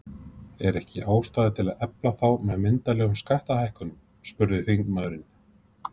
Er ekki ástæða til að efla þá með myndarlegum skattalækkunum? spurði þingmaðurinn.